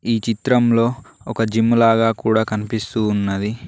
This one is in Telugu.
ఈ చిత్రంలో ఒక జిమ్ములాగా కూడా కనిపిస్తూ ఉన్నది.